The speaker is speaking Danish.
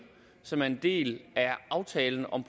som er en del af aftalen om